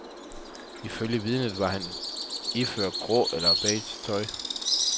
Ifølge vidnet var han iført gråt eller beige tøj.